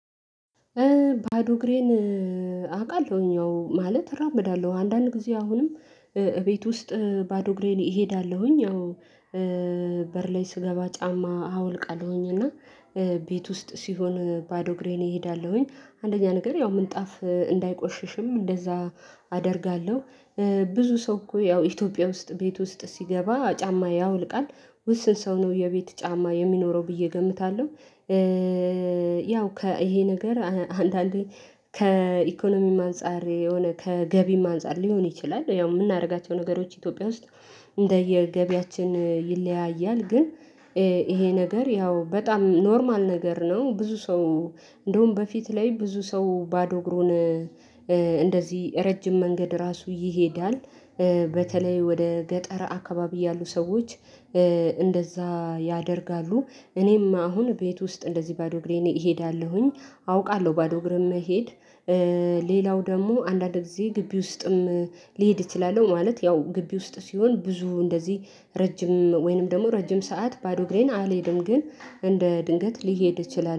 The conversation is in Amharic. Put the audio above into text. ባዶ እግሬን አውቃለሁኝ አዎ ማለት እራመዳለሁ አንዳንድ ጊዜ አሁንም እቤት ውስጥ ባዶ እግሬን እሄዳለሁኝ ያው በር ላይ ስገባ ጫማ አወልቃለሁኝ እና ቤት ውስጥ ሲሆን ባዶ እግሬን እሄዳለሁኝ አንደኛ ነገር ያው ምንጣፍ እንዳይቆሽሽም እንደዚያ አደርጋለሁ ብዙ ሰው እኮ ያው ኢትዮጵያ ውስጥ ቤት ውስጥ ሲገባ ጫማ ያወልቃል ውስን ሰው ነው የቤት ጫማ የሚኖረው ብዬ እገምታለሁ። ያው ከ እሄ ነገር አንዳንዴ ከኢኮኖሚም አንፃር የሆነ ከገቢም አንፃር ሊሆን ይችላል። ያው የምናደርጋቸው ነገሮች ኢትዮጵያ ውስጥ እንደየገቢያችን ይለያያል ግን ይሄ ነገር ያው በጣም ኖርማል ነገር ነው። ብዙ ሰው እንደውም በፊት ላይ ብዙ ሰው ባዶ እግሩን እንደዚህ ረጅም መንገድ ራሱ ይሄዳል። በተለይ ወደ ገጠረ አካባቢ ያሉ ሰዎች እንደዚያ ያደርጋሉ። እኔማ አሁን ቤት ውስጥ እንደዚህ ባዶ እግሬን እሄዳለሁኝ። አውቃለሁ ባዶ እግርም መሄድ ሌላው ደግሞ አንዳንድ ጊዜ ግቢ ውስጥም ሊሄድ እችላለሁ። ማለት ያው ግቢ ውስጥ ሲሆን ብዙ እንደዚህ ረጅም ወይንም ደግሞ ረጅም ሰዓት ባዶ ግሬን አልሄድም። ግን እንደ ድንገት ሊሄድ እችለለሁ